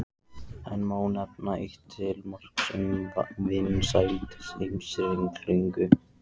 Enn má nefna eitt til marks um vinsældir Heimskringlu.